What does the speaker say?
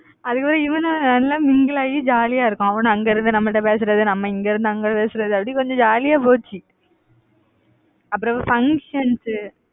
அதுக்கப்புறம் இவனு நானும் எல்லாம் mingle ஆயி ஜாலியா இருக்கும். அவனு அங்க இருந்து நம்ம கிட்ட பேசுறது நம்ம இங்க இருந்து அங்க பேசுறது, அப்படி கொஞ்சம் jolly யா போச்சு, அப்பறம் functions